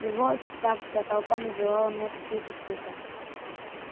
и вот так вся толпа называла мне какие-то цифры